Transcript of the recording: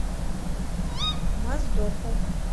моздоку